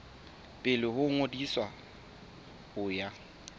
pele ho ngodiso ho ya